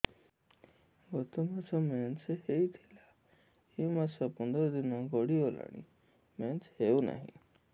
ଗତ ମାସ ମେନ୍ସ ହେଇଥିଲା ଏ ମାସ ପନ୍ଦର ଦିନ ଗଡିଗଲାଣି ମେନ୍ସ ହେଉନାହିଁ